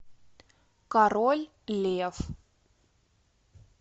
король лев